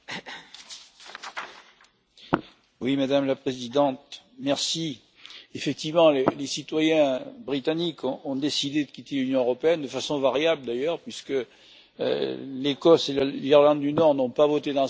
Madame la Présidente, effectivement les citoyens britanniques ont décidé de quitter l'Union européenne, de façon variable d'ailleurs, puisque l'Ecosse et l'Irlande du Nord n'ont pas voté dans ce sens, ce qui ne manquera pas de compliquer les négociations.